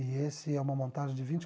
E esse é uma montagem de vinte